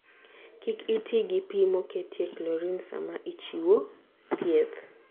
Kik iti gi pi moketie chlorine sama ichiwo thieth.